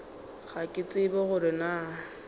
ga ke tsebe gore na